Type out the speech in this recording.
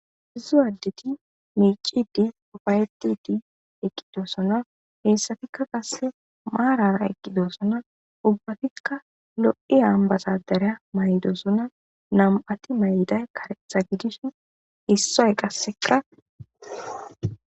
Isso addeti miic'ide uufaytide eqidosona. Hessatika qasse maarara eqidosona. Ubbatika loo'iya ambbasadare ma'idosona. Nam'ati ma'iday kareththa gidishin issoy qasseka....